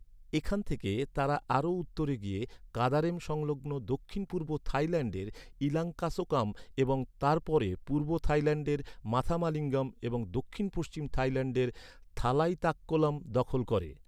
এখান থেকে তারা আরও উত্তরে গিয়ে, কাদারেম সংলগ্ন দক্ষিণ পূর্ব থাইল্যান্ডের ইলাঙ্কাসোকাম এবং তার পরে পূর্ব থাইল্যান্ডের মাথামালিঙ্গম এবং দক্ষিণ পশ্চিম থাইল্যান্ডের থালাইতাক্কোলাম দখল করে।